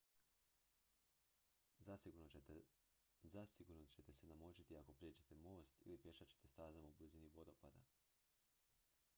zasigurno ćete se namočiti ako prijeđete most ili pješačite stazama u blizini vodopada